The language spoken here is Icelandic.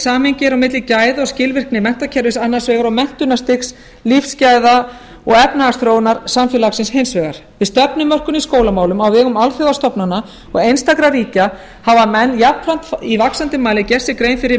samhengi er á milli gæða og skilvirkni menntakerfis annars vegar og menntunarstigs lífsgæða og efnahagsþróunar samfélagi hins vegar við stefnumörkun grunnskólum á vegum alþjóðastofnana og einstakra ríkja hafa menn jafnframt í vaxandi mæli gert sér grein fyrir